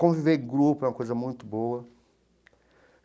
Conviver em grupo é uma coisa muito boa.